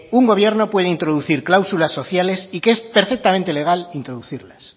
una gobierno puede introducir cláusulas sociales y que es perfectamente legal introducirlas